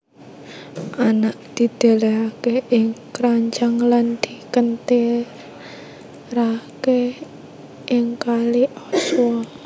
Anak didelehake ing kranjang lan dikentirake ing kali Aswa